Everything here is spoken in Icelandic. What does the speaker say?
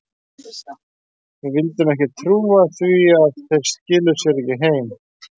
Við vildum ekki trúa því að þeir skiluðu sér ekki heim.